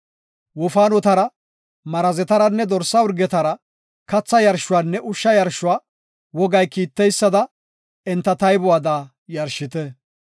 Wofaanotara, Marazetaranne dorsa urgetara katha yarshuwanne ushsha yarshuwa wogay kiiteysada enta taybuwada yarshite.